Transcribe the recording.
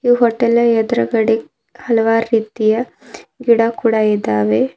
ಹೋಟೆಲ್ನ ಎದ್ರುಗಡೆ ಹಲವಾರು ರೀತಿಯ ಗಿಡ ಕೂಡ ಇದಾವೆ.